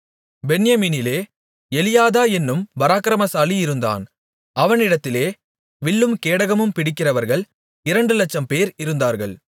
பென்யமீனிலே Eliada என்னும் பராக்கிரமசாலி இருந்தான் அவனிடத்திலே வில்லும் கேடகமும் பிடிக்கிறவர்கள் இரண்டுலட்சம்பேர் இருந்தார்கள்